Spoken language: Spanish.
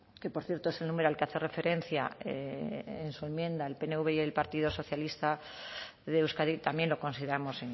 que por cierto es el número al que hace referencia en su enmienda el pnv y el partido socialista de euskadi también lo consideramos